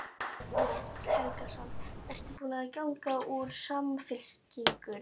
Egil Helgason: Ertu búin að ganga úr Samfylkingunni?